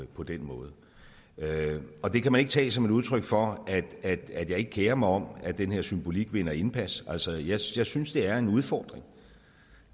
på den måde og det kan man ikke tage som et udtryk for at jeg ikke kerer mig om at den her symbolik vinder indpas altså jeg synes synes det er en udfordring